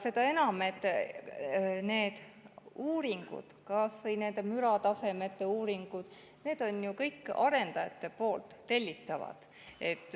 Seda enam, et need uuringud, kas või nende müratasemete uuringud, on ju kõik arendajate tellitud.